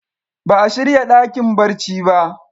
Ba a shirya dakin barci ba.